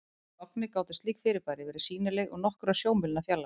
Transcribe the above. Í logni gátu slík fyrirbæri verið sýnileg úr nokkurra sjómílna fjarlægð.